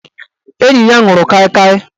Enyi ya nwụrụ Kai Kai